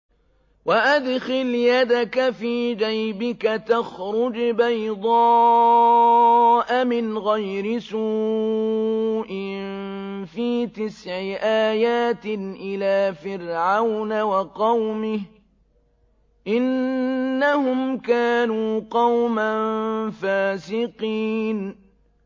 وَأَدْخِلْ يَدَكَ فِي جَيْبِكَ تَخْرُجْ بَيْضَاءَ مِنْ غَيْرِ سُوءٍ ۖ فِي تِسْعِ آيَاتٍ إِلَىٰ فِرْعَوْنَ وَقَوْمِهِ ۚ إِنَّهُمْ كَانُوا قَوْمًا فَاسِقِينَ